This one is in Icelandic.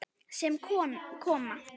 Sem koma.